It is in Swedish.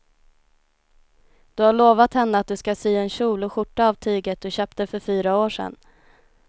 Du har lovat henne att du ska sy en kjol och skjorta av tyget du köpte för fyra år sedan.